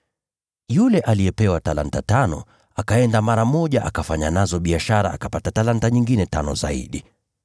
Yule aliyepewa talanta tano akaenda mara moja akafanya nazo biashara akapata talanta nyingine tano zaidi.